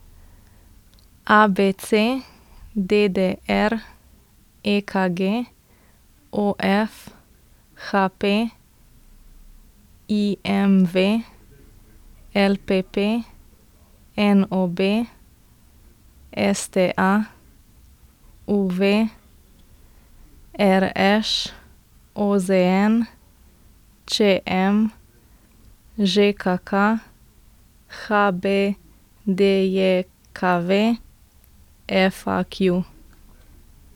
A B C; D D R; E K G; O F; H P; I M V; L P P; N O B; S T A; U V; R Š; O Z N; Č M; Ž K K; H B D J K V; F A Q.